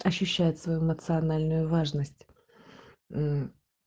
ощущает свою национальную важность мм